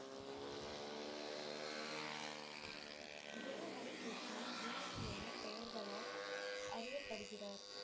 குரு ஹரிகிருஷ்ணா வேறு என்ன பெயர்களால் அறியப்படுகிறார்?